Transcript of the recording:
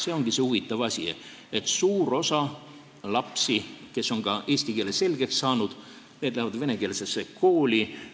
See ongi see huvitav asi, et suur osa lapsi, kes on eesti keele selgeks saanud, läheb venekeelsesse kooli.